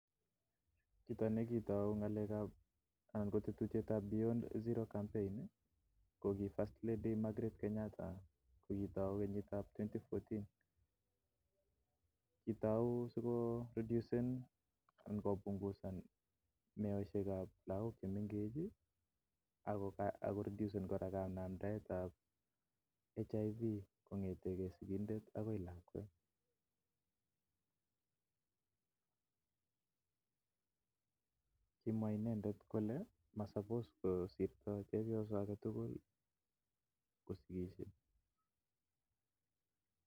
Chito nekitai anan ko tetutiet tab zero campaign ih ko ki first lady MARGRET KENYATA kokitau en kenyitab elibusiek aeng ak taman ak ang'uan. Kitauu siko reduce anan punguza ng'alekab meet en lakok chemengech ak Ako redusen kanamdaetab HIV kong'eten kimwa inendet kole masapose ko kosirta lakwa agetugul